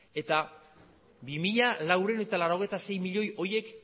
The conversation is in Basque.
eta bi mila laurehun eta laurogeita sei milioi horiek